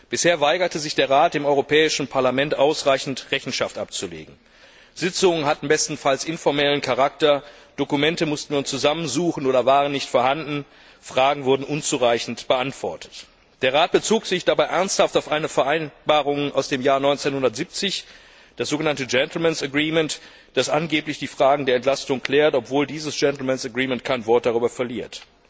Bisher weigerte sich der Rat, dem Europäischen Parlament ausreichend Rechenschaft abzulegen. Sitzungen hatten bestenfalls informellen Charakter, Dokumente musste man zusammensuchen oder waren nicht vorhanden, Fragen wurden unzureichend beantwortet. Der Rat bezog sich dabei ernsthaft auf eine Vereinbarung aus dem Jahr 1970, das sogenannte gentlemen's agreement das angeblich die Fragen der Entlastung klärt, obwohl dieses gentlemen's agreement kein Wort darüber verliert.